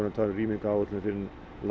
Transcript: tala um rýmingaráætlun fyrir